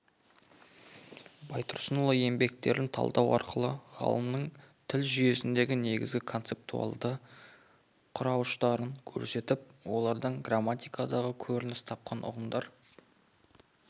байтұрсынұлы еңбектерін талдау арқылы ғалымның тіл жүйесінің негізгі концептуалды құрауыштарын көрсетіп олардан грамматикада көрініс тапқан ұғымдар